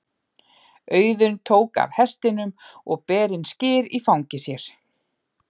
Auðunn tók af hestinum og ber inn skyr í fangi sér.